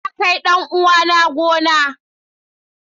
Na kai dan uwana gona.